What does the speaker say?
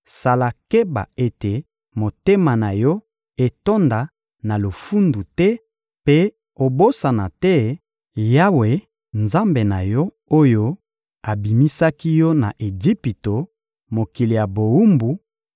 sala keba ete motema na yo etonda na lofundu te mpe obosana te Yawe, Nzambe na yo, oyo abimisaki yo na Ejipito, mokili ya bowumbu,